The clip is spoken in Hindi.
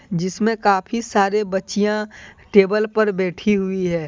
जिसमें काफी सारे बच्चियां टेबल पर बैठी हुई है।